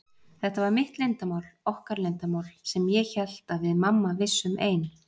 Þetta var mitt leyndarmál, okkar leyndarmál, sem ég hélt að við mamma vissum ein.